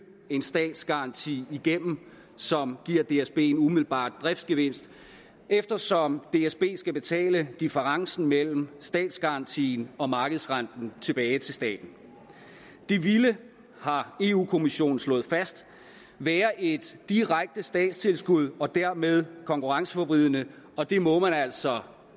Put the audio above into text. en statsgaranti igennem som giver dsb en umiddelbar driftgevinst eftersom dsb skal betale differencen mellem statsgarantien og markedsrenten tilbage til staten det ville har europa kommissionen slået fast være et direkte statstilskud og dermed konkurrenceforvridende og det må man altså